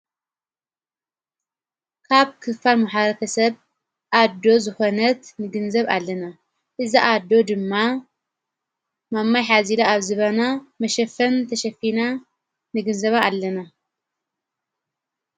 ካብ ክፋን መሓረከ ሰብ ኣዶ ዝኾነት ንግንዘብ ኣለና እዛ ኣዶ ድማ ማማይ ኃዚለ ኣብ ዝበና መሸፈን ተሸፊና ንግንዘባ ኣለና።